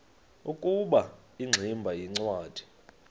ukuba ingximba yincwadi